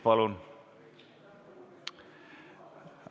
Palun!